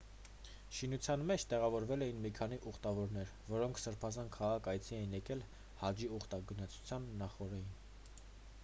շինության մեջ տեղավորվել էին մի քանի ուխտավորներ որոնք սրբազան քաղաք այցի էին եկել հաջի ուխտագնացության նախօրեին